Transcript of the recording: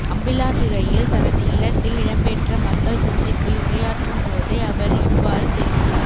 அம்பிளாந்துறையில் தனது இல்லத்தில் இடம்பெற்ற மக்கள் சந்திப்பில் உரையாற்றும் போதே அவர் இவ்வாறு தெரிவித்தார்